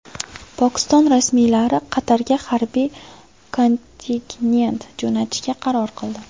Pokiston rasmiylari Qatarga harbiy kontingent jo‘natishga qaror qildi.